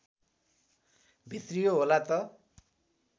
भित्रियो होला त